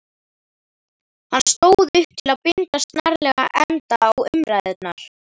Hann stóð upp til að binda snarlega enda á umræðurnar.